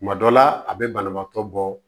Kuma dɔ la a bɛ banabaatɔ bɔ